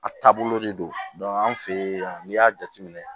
A taabolo de don an fɛ yen n'i y'a jateminɛ